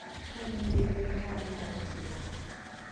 Ka in gi rieko ma inyalo tiyogo.